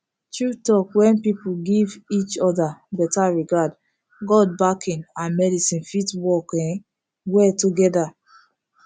true talk when people give each other better regard god backing and medicine fit work um well together